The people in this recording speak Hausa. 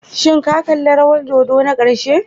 Shin ka kalli rawar dodo na ƙarshe?